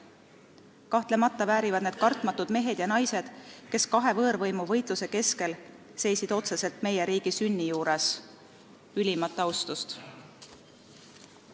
Kahtlemata väärivad need kartmatud mehed ja naised, kes kahe võõrvõimu võitluse keskel seisid otseselt meie riigi sünni juures, ülimat austust.